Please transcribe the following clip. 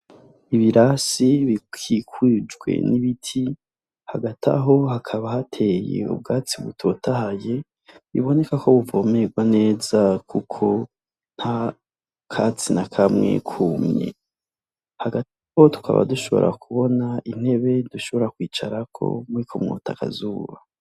Ibirasi bikikujwe nibiti hagataho haka hateye ubgatsi butotahaye bubonekako buvomerwa neza kuko ntakatsi nakamwe kumye hagataho tukaba dushobora intebe ushobora kwicarako wota akazuba.